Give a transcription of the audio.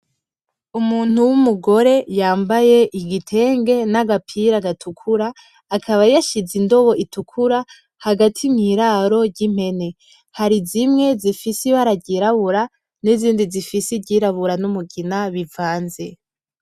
Umuntu w'umugore yambaye agapira gatukura, akaba yashize indobo itukura hagati mu iraro ry'impene, hari zimwe zifise ibara ryirabura n'izindi zifise iryirabura n'umugina bivanze.